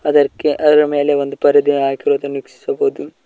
ಅದಕ್ಕೆ ಅದರ ಮೇಲೆ ಒಂದು ಪರದೆ ಹಾಕಿರುವುದನ್ನು ವಿಕ್ಷಿಸಬಹುದು.